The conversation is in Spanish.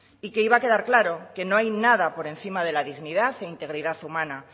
que iba a quedar claro que no hay nada por encima de la dignidad e integridad humana